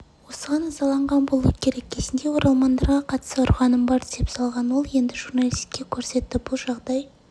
осыған ызаланған болуы керек кезінде оралмандарға қатысты ұрғаным бар деп салғанол енді журналискедоқ көрсетті бұл жағдай